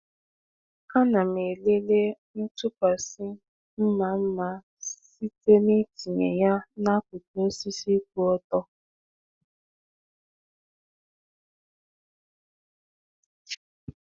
A na m elele ntụkwasị mma mma site n’itinye ya n’akụkụ osisi kwụ ọtọ.